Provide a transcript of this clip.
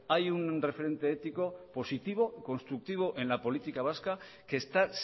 hay un referente ético positivo constructivo en la política vasca que está